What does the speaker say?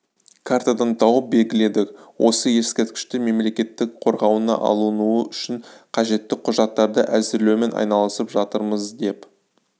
картадан тауып белгіледік осы ескерткіштер мемлекеттің қорғауына алынуы үшін қажетті құжаттарды әзірлеумен айналысып жатырмыз деп